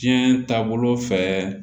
Diɲɛ taabolo fɛ